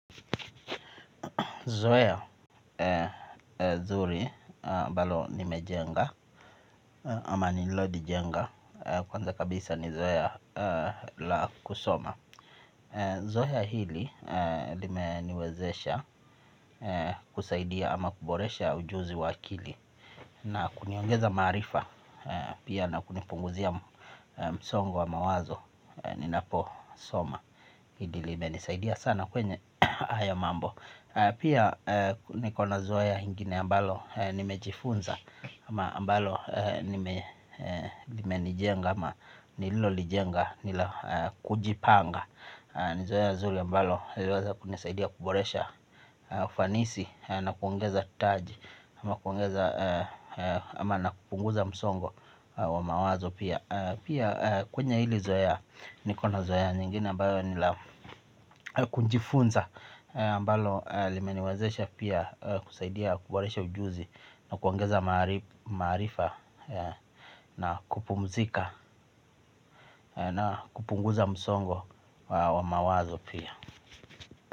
Zoeya zuri ambalo nimejenga ama nilodi jenga kwanza kabisa ni zoeya la kusoma. Zoeya hili lime niwezesha kusaidia ama kuboresha ujuzi wakili na kuniongeza marifa pia na kunipunguzia msongo wa mawazo ninapo soma. Hili lime nisaidia sana kwenye haya mambo. Pia nikona zoea ingine ambalo nimejifunza ama ambalo nimelijenga ama nililolijenga nila kujipanga. Ni zoea zuri ambalo liliweza kunisaidia kuboresha ufanisi na kuongeza taji ama kuongeza ama na kupunguza msongo wa mawazo pia. Pia kwenye hili zoea niko na zoea nyingine ambayo nilakujifunza ambalo limeniwezesha pia kusaidia kuboresha ujuzi na kuongeza maarifa na kupumzika na kupunguza msongo wa mawazo pia.